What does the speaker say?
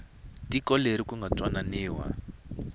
tiko leri ku nga twananiwa